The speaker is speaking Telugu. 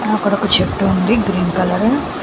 ఆ అక్కడ ఒక చెట్టు ఉంది గ్రీన్ కలరు .